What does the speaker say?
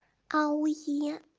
а у е